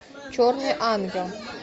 черный ангел